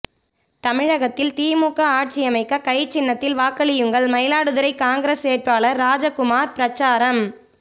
தமிழகத்தில் திமுக ஆட்சியமைக்க கை சின்னத்தில் வாக்களியுங்கள் மயிலாடுதுறை காங்கிரஸ் வேட்பாளர் ராஜகுமார் பிரசாரம்